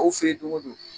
Aw fɛ yen don go don